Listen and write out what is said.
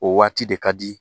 O waati de ka di